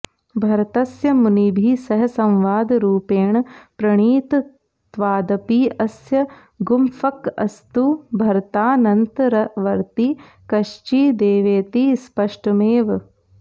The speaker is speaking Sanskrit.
भरतस्य मुनिभिः सह संवादरूपेण प्रणीतत्वादपि अस्य गुम्फकस्तु भरतानन्तरवर्ती कश्चिदेवेति स्पष्टमेव